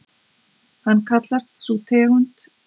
Hvað kallast sú tegund humars sem veidd er við Ísland?